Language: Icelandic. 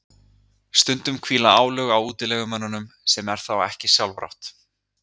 Stundum hvíla álög á útilegumönnunum sem er þá ekki sjálfrátt.